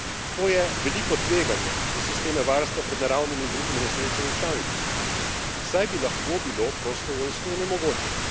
To je veliko tveganje za sisteme varstva pred naravnimi in drugimi nesrečami v članicah, saj bi lahko bilo prostovoljstvo onemogočeno.